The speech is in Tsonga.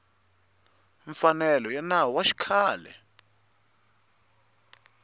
mfanelo ya nawu wa xikhale